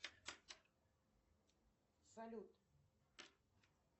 салют